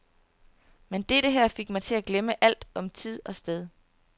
Men dette her fik mig til at glemme alt om tid og sted.